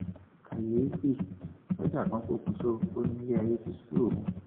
kàyééfì sójà kan pokùṣọ ó ní ilẹ ayé ti sú òun